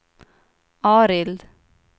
Arild